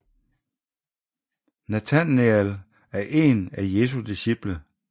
Natanael er en af Jesu disciple